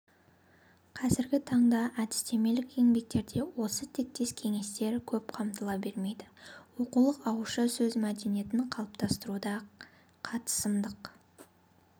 қазіргі таңда әдістемелік еңбектерде осы тектес кеңестер көп қамтыла бермейді оқулық ауызша сөз мәдениетін қалыптастыруда қатысымдық